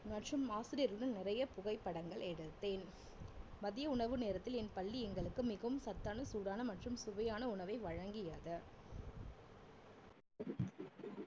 மற்றும் ஆசிரியர்களுடன் நிறைய புகைப்படங்கள் எடுத்தேன் மதிய உணவு நேரத்தில் என் பள்ளி எங்களுக்கு மிகவும் சத்தான சூடான மற்றும் சுவையான உணவை வழங்கியது.